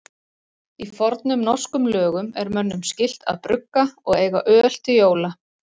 Í fornum norskum lögum er mönnum skylt að brugga og eiga öl til jóla.